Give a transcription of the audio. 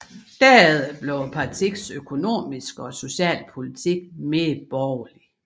Derefter blev partiets økonomiske og sociale politik mere borgerlig